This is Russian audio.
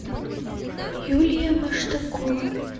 юлия маштакова